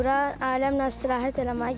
Bura aləmnən istirahət eləməyə gəlmişəm.